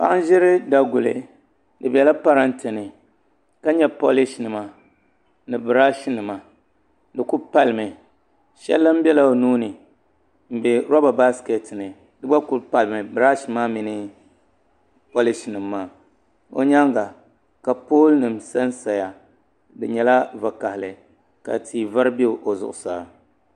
Paɣa n ʒiri daguli di biɛla parantɛ ni ka nyɛ polish nima ni birash nima di ku palimi shɛli lahi biɛla o nuuni n bɛ roba baskɛt ni di gba kuli palimi birash maa mini polish nim maa o nyaanga ka pool nim sansaya di nyɛla vakaɣali ka tia vari bɛ o zuɣusaa